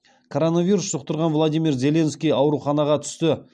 коронавирус жұқтырған владимир зеленский ауруханаға түсті